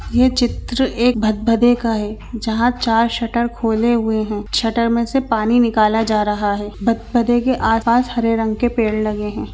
यह चित्र एक भदभदे का है जहाँ चार शटर खोले हुए है शटर में से पानी निकाला जा रहा है भदभदे के आस-पास हरे रंग के पेड़ लगे है।